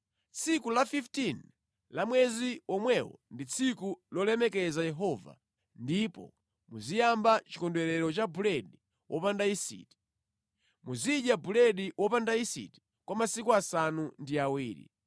Tsiku la 15 la mwezi womwewo ndi tsiku lolemekeza Yehova ndipo muziyamba Chikondwerero cha Buledi Wopanda Yisiti. Muzidya buledi wopanda yisiti kwa masiku asanu ndi awiri.